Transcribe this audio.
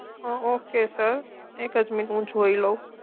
Ok sir sir એક જ minute હું જોઈ લઉં